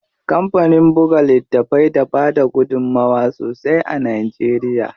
Kampanin buga littafai da bada gudunmuwa sosai a Najeriya.